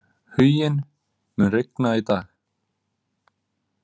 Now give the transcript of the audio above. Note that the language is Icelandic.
Huginn, mun rigna í dag?